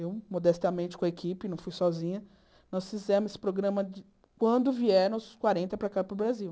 Eu, modestamente, com a equipe, não fui sozinha, nós fizemos esse programa de quando vieram os quarenta para cá para o Brasil.